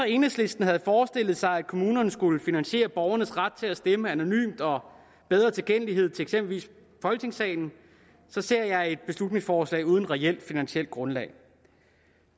enhedslisten havde forestillet sig at kommunerne skulle finansiere borgernes ret til at stemme anonymt og bedre tilgængelighed til eksempelvis folketingssalen så ser jeg et beslutningsforslag uden reelt finansielt grundlag